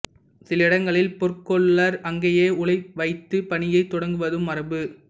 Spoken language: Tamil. சில இடங்களில் பொற்கொல்லர் அங்கேயே உலை வைத்துப் பணியைத் தொடங்குவதும் மரபு